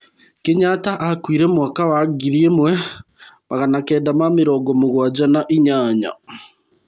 Kenyatta akuire mwaka wa ngiri ĩmwe magana kenda ma mĩrongo mũgwanja na inyanya.